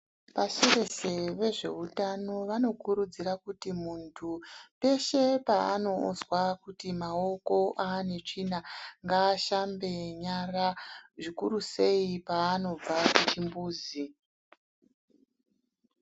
Pasi reshe vezveutano vanokurudzira kuti muntu peshe paanozwa kuti maoko anetsvina ngaashambe nyara zvikuru sei paanobva kuchimbuzi.